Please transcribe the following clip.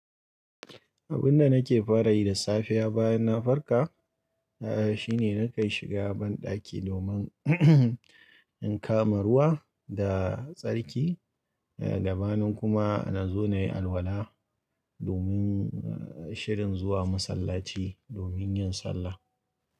Abin da nake fara yi da safiya bayan na farka, na shine na kai shiga banɗaki domin in kama ruwa da tsarki, ga gabanin kuma na zo na yi alwala domin shirin zuwa masallaci domin yin sallah.